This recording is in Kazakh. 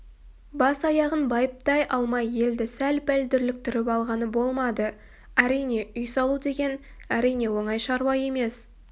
бас-аяғын байыптай алмай елді сәл-пәл дүрліктіріп алғаны болмады әрине үй салу деген әрине оңай шаруа емес